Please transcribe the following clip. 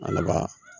Laban